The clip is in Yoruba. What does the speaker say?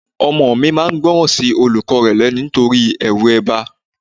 Ọmọ mi máa ń gbóran sí olùkọ́ rẹ lẹ́nu nítorí ẹrù ẹgba.